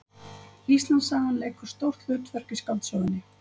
Íslandssagan leikur stórt hlutverk í skáldsögunni